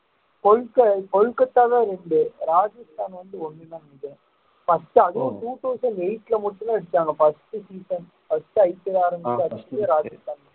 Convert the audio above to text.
கொல்கத்~ கொல்கத்தாதான் ரெண்டு ராஜஸ்தான் வந்து ஒண்ணுதான் நெனைக்குற first அதுவும் two thousand eight ல மட்டும்தான் அடிச்சாங்க first season firstIPL ஆரம்பிச்சு first ராஜஸ்தான்